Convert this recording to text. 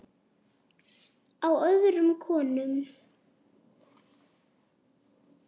Á öðrum konum.